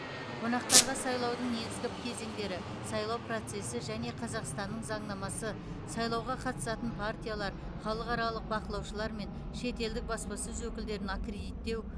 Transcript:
қонақтарға сайлаудың негізгі кезеңдері сайлау процесі және қазақстанның заңнамасы сайлауға қатысатын партиялар халықаралық бақылаушылар мен шетелдік баспасөз өкілдерін аккредиттеу